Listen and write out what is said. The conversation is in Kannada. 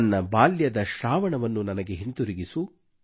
ನನ್ನ ಬಾಲ್ಯದ ಶ್ರಾವಣವನ್ನು ನನಗೆ ಹಿಂತಿರುಗಿಸು